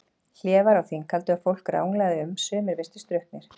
Hlé var á þinghaldi og fólk ranglaði um, sumir virtust drukknir.